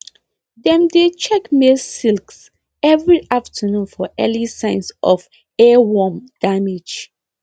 dem dey check maize silks every afternoon for early signs of earworm damage